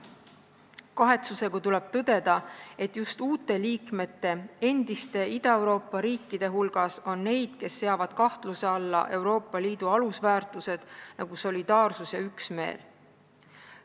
Kahetsusega tuleb tõdeda, et just uute liikmete, endiste Ida-Euroopa riikide hulgas on neid, kes seavad kahtluse alla Euroopa Liidu alusväärtused, nagu solidaarsus ja üksmeel.